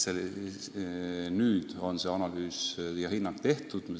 Nüüd on see analüüs tehtud ja hinnang antud.